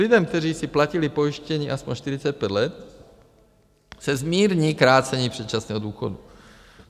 Lidem, kteří si platili pojištění aspoň 45 let, se zmírní krácení předčasného důchodu.